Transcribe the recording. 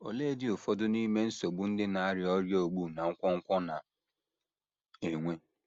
Oleedị ụfọdụ n’ime nsogbu ndị na - arịa ọrịa ogbu na nkwonkwo na - enwe?